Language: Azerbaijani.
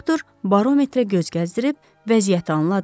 Doktor barometrə göz gəzdirib vəziyyəti anladı.